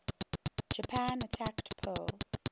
japan attacked pearl